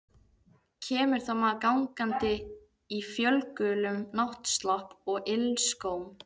Kemur þá maður gangandi í fölgulum náttslopp og ilskóm.